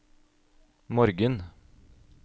morgen